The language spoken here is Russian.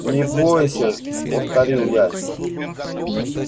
не бойся повторил я